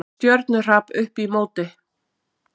Stjörnuhrap upp í móti!